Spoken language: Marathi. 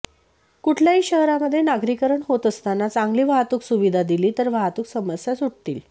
कुठल्याही शहरामध्ये नागरीकरण होत असताना चांगली वाहतूक सुविधा दिली तर वाहतूक समस्या सुटतील